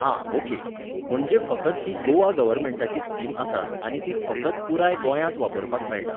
आं ऑके. म्हणजे फकत ही गोवा गव्हर्मेंटाची स्कीम आसा आनी ती फकत पुराय गोंयांत वापरपाक मेळटा